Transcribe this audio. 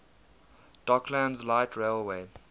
docklands light railway